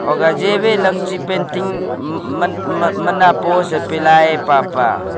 hogah jive painting mana post pilai pah pa.